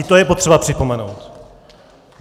I to je potřeba připomenout.